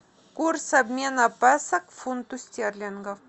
курс обмена песо к фунту стерлингов